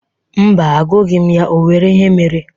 Mba, agụghi m ya. O nwere ihe mere?